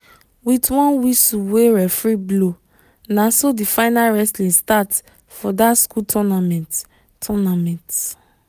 with one whistle wey referee blow naso the final wrestling start for that school tounament. tounament.